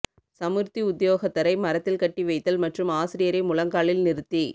சமுர்த்தி உத்தியோகத்தரை மரத்தில் கட்டி வைத்தல் மற்றும் ஆசிரியரை முழங்காலில் நிறுத்தி